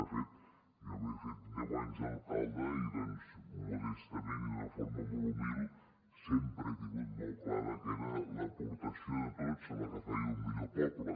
de fet jo m’he fet deu anys d’alcalde i doncs modestament i d’una forma molt humil sempre he tingut molt clar que era l’aportació de tots la que feia un millor poble